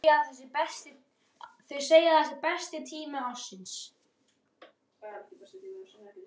Þau segja að það sé besti tími ársins.